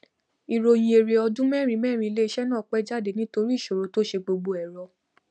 ìròyìn èrè ọdún mẹrinmẹrin ilé iṣẹ náà pé jáde nítorí ìṣòro tó se gbogbo ẹrọ